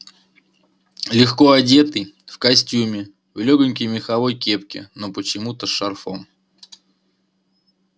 легко одетый в костюме в лёгонькой меховой кепке но почему-то с шарфом